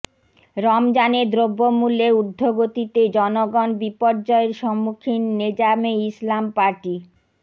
রমজানে দ্রব্যমূল্যের ঊর্দ্ধগতিতে জনগণ বিপর্যয়ের সম্মুখীন নেজামে ইসলাম পার্টি